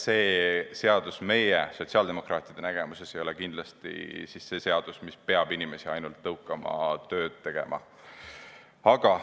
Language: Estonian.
See seadus ei ole meie, sotsiaaldemokraatide silmis kindlasti selline seadus, mis peab inimesi ainult tõukama tööd tegema.